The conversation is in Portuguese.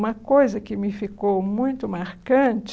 Uma coisa que me ficou muito marcante